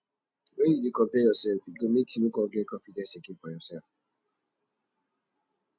wen you dey compare yourself e go make you no come get confidence again for yourself